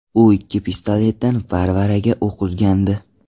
U ikkita pistoletdan baravariga o‘q uzgandi.